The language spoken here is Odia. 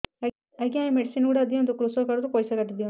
ଆଜ୍ଞା ଏ ମେଡିସିନ ଗୁଡା ଦିଅନ୍ତୁ କୃଷକ କାର୍ଡ ରୁ ପଇସା କାଟିଦିଅନ୍ତୁ